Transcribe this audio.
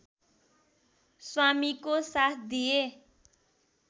स्वामिको साथ दिए